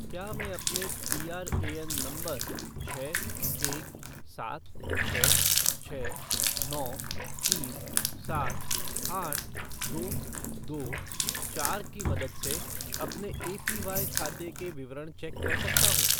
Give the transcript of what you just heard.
क्या मैं अपने पीआरएएन नंबर छः एक सात छः छः नौ तीन सात आठ दो दो चार की मदद से अपने एपीवाई खाते के विवरण चेक कर सकता हूँ?